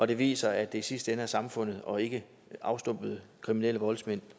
det viser at det i sidste ende er samfundet og ikke afstumpede kriminelle voldsmænd